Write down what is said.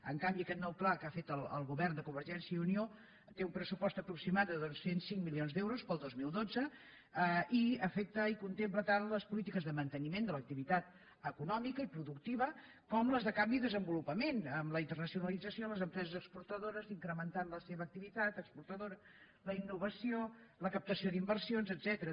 en canvi aquest nou pla que ha fet el govern de convergència i unió té un pressupost aproximat de dos cents i cinc milions d’euros per al dos mil dotze i afecta i contempla tant les polítiques de mante·niment de l’activitat econòmica i productiva com les de canvi i desenvolupament amb la internacionalitza·ció les empreses exportadores incrementant la seva activitat exportadora la innovació la captació d’in·versions etcètera